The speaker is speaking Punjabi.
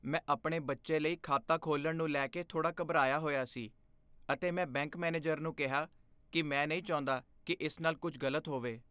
ਮੈਂ ਆਪਣੇ ਬੱਚੇ ਲਈ ਖਾਤਾ ਖੋਲ੍ਹਣ ਨੂੰ ਲੈ ਕੇ ਥੋੜਾ ਘਬਰਾਇਆ ਹੋਇਆ ਸੀ ਅਤੇ ਮੈਂ ਬੈਂਕ ਮੈਨੇਜਰ ਨੂੰ ਕਿਹਾ ਕਿ ਮੈਂ ਨਹੀਂ ਚਾਹੁੰਦਾ ਕਿ ਇਸ ਨਾਲ ਕੁਝ ਗਲਤ ਹੋਵੇ।